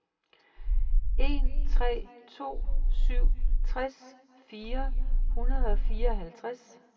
en tre to syv tres fire hundrede og fireoghalvtreds